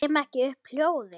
Kem ekki upp hljóði.